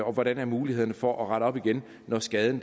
og hvordan er mulighederne for at rette op igen når skaden